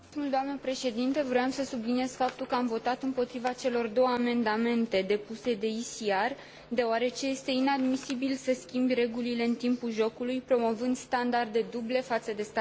Voiam să subliniez faptul că am votat împotriva celor două amendamente depuse de ECR, deoarece este inadmisibil să schimbi regulile în timpul jocului, promovând standarde duble față de statele membre.